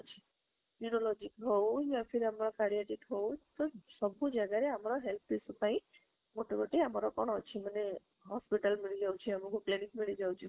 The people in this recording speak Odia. neurology ହାଉ ଆମର ହାଉ ସବୁ ଜାଗାରେ ଆମର health ଜିନିଷ ପାଇଁ ଗୋଟେ ଗୋଟେ ଆମର କଣ ଅଛି ମାନେ hospital ମିଳି ଯାଉଛି ଆମକୁ clinic ମିଳି ଯାଉଛି